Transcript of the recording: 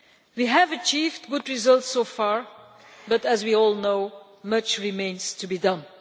We have achieved good results so far but, as we all know, much remains to be done.